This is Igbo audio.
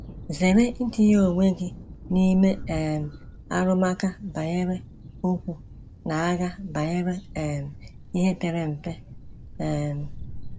Zere itinye onwe gị n’ime um ‘arụmụka banyere okwu’ na ‘agha banyere um ihe pere mpe.’ um